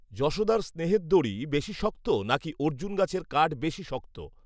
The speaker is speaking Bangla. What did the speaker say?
যশোদার স্নেহের দড়ি বেশী শক্ত নাকি অর্জুন গাছের কাঠ বেশী শক্ত